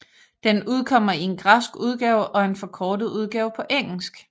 Den udkommer i en græsk udgave og en forkortet udgave på engelsk